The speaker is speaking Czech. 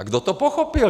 A kdo to pochopil?